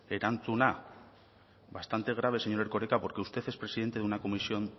erantzuna bastante grave señor erkoreka porque usted es presidente de una comisión